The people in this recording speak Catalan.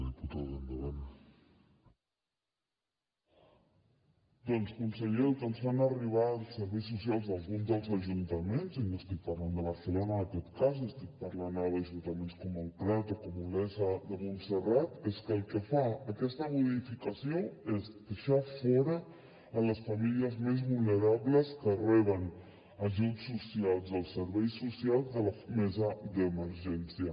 doncs conseller el que ens fan arribar els serveis socials d’alguns dels ajuntaments i no estic parlant de barcelona en aquest cas estic parlant ara d’ajuntaments com el prat o com olesa de montserrat és que el que fa aquesta modificació és deixar fora les famílies més vulnerables que reben ajuts socials dels serveis socials de la mesa d’emergència